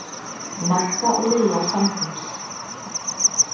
Magga og Lilla samtímis.